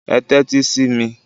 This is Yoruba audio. Ẹ tẹ́tí sí mi!